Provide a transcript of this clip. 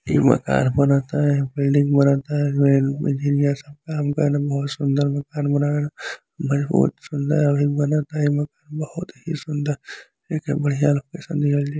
यहां मकान बनता यहां बिल्डिंग बनता। एमें इंजीनयर सब काम करत बाड़सन बहुत सुंदर मकान बहुत सुदर हई बनता यह मकान बहुत ही सुंदर एके बढ़िया लोकेशन दिहल जाई।